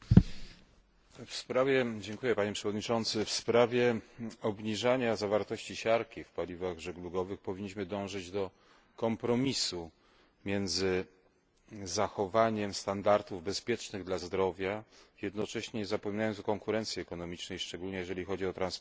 Panie Przewodniczący! W sprawie obniżania zawartości siarki w paliwach żeglugowych powinniśmy dążyć do kompromisu między zachowaniem standardów bezpiecznych dla zdrowia, jednocześnie nie zapominając o konkurencji ekonomicznej, szczególnie jeżeli chodzi o transporty z krajów pozaeuropejskich,